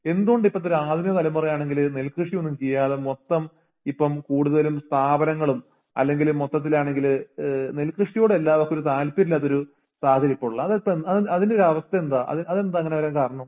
എന്തുകൊണ്ടിപ്പത്തോരാധുനികതലമുറയാണെങ്കില് നെൽകൃഷിയോന്നും ചെയ്യാതെ മൊത്തം ഇപ്പം കൂടുതലും സ്ഥാപനങ്ങളും അല്ലെങ്കില് മൊത്തത്തിലാണെങ്കില് ഏഹ് നെൽകൃഷിയോടെല്ലാവർക്കൊര് താല്പര്യയില്ലാത്തൊരു സാഹചര്യ ഇപ്പൊളുള്ളെ അതിപ്പോ അഹ് അതിന്റയോരവസ്ഥയെന്താ അത് അതെന്താങ്ങനെവരാൻ കാരണം